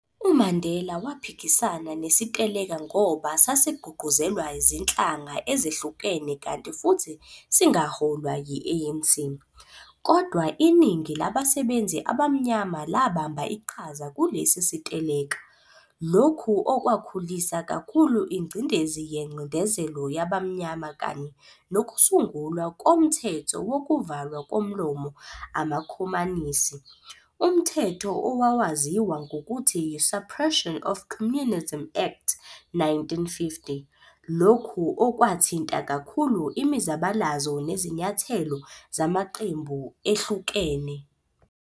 UMandela waphikisana nesiteleka ngoba sasigqugquzelwa zinhlanga ezehlukene kanti futhi singaholwa yi-ANC, kodwa iningi labasebenzi abamnyama labamba iqhaza kulesi siteleka, lokhu okwakhulisa kakhulu ingcindezi yencindezelo yabamnyama kanye nokusungulwa komthetho wokuvalwa komlomo amakhomanisi, umthetho owawaziwa ngokuthi yi-Suppresion of Communism Act, 1950, lokhu okwathinta kakhulu imizabalazo nezinyathelo zamaqembu ehlukene.